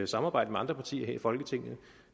samarbejde med andre partier her i folketinget